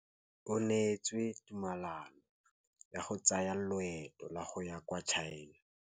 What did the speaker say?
O neetswe tumalanô ya go tsaya loetô la go ya kwa China.